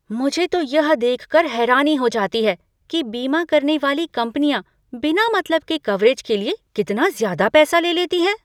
मुझे तो यह देखकर हैरानी हो जाती है कि बीमा करने वाली कंपनियाँ बिना मतलब के कवरेज के लिए कितना ज़्यादा पैसा ले लेती हैं।